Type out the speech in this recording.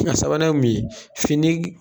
A sabanan ye mun ye fini